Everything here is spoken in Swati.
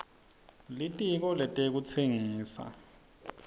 litiko letekutsengisa